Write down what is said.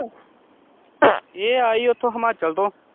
ਇਹ ਆ ਜੀ ਉੱਥੋਂ ਹਿਮਾਚਲ ਤੋਂ।